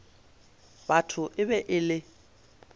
batho e be e le